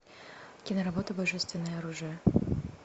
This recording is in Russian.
киноработа божественное оружие